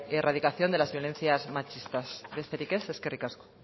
erradicación de las violencias machistas besterik ez eskerrik asko